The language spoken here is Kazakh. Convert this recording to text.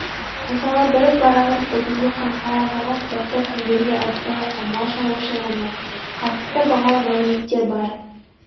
мысалы бір параграф бүтіндей қымызға арналған кітапта киімдерге ыдыс-аяққа мал шаруашылығына қатысты бағалы мәліметтер бар